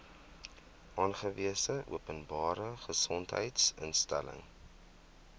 aangewese openbare gesondheidsinstelling